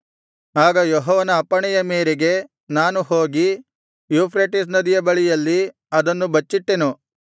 ಆಗ ಯೆಹೋವನ ಅಪ್ಪಣೆಯ ಮೇರೆಗೆ ನಾನು ಹೋಗಿ ಯೂಫ್ರೆಟಿಸ್ ನದಿಯ ಬಳಿಯಲ್ಲಿ ಅದನ್ನು ಬಚ್ಚಿಟ್ಟೆನು